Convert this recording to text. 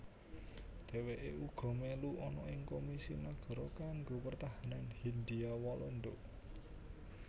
Dheweke uga melu ana ing Komisi Nagara kanggo Pertahanan Hindia Walanda